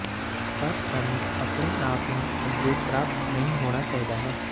ਪਰ ਸਾਨੂੰ ਆਪਣੇ ਆਪ ਨੂੰ ਅੱਗੇ ਪ੍ਰਾਪਤ ਨਹੀ ਹੋਣਾ ਚਾਹੀਦਾ ਹੈ